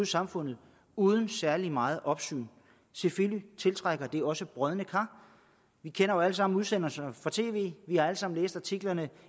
samfundet uden særlig meget opsyn selvfølgelig tiltrækker det også brodne kar vi kender jo alle sammen udsendelserne fra tv vi har alle sammen læst artiklerne